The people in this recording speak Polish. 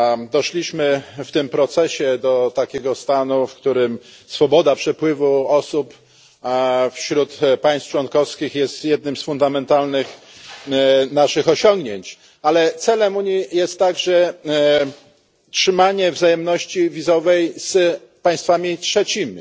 Doszliśmy w tym procesie do takiego stanu, w którym swoboda przepływu osób wśród państw członkowskich jest jednym z naszych fundamentalnych osiągnięć, ale celem Unii jest także trzymanie wzajemności wizowej z państwami trzecimi.